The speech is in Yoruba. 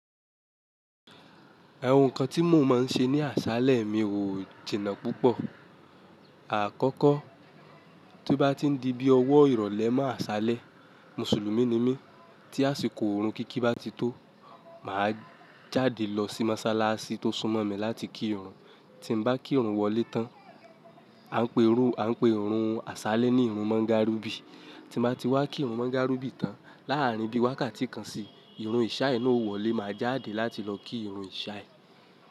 Ẹ̀wùn kan tí mo máa ń ṣe ní àṣálẹ́ mi wò jìnnà púpọ̀. Àkọ́kọ́, tí bá ti ń di bí ọwọ́ ìrọ̀lẹ́ máa ṣálẹ́, Mùsùlùmí ni mí, tí àsìkò irun kíkí bá ti tó, màá jáde lọ sí Mọ́sálásí tó súnmọ́ mi láti kí irun. Tí m bá kí irun wọlé tán, à ń pè ọ̀run àṣálẹ́ ní irun mọ́ńgàribì. Tí mo bá ti wá kí irun mọ́ńgàrùbì tán, láàárín bí wákàtí kan sí, ìrùn ìṣáyi náà ó wọlé, màá jáde láti lọ kí ìrùn ìṣáyẹ́.